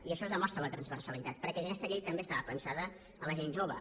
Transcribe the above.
i això demostra la transversalitat perquè aquesta llei també estava pensada per a la gent jove